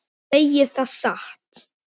Ég segi það satt.